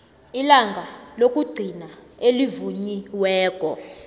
ilanga lokugcina elivunyiweko